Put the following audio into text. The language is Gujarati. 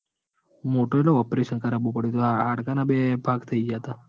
મોટું એટલે operation કારબુ પડ્યું તું હાડકા ના બે ભાગ થઇ ગયા તા.